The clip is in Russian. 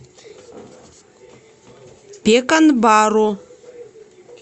пеканбару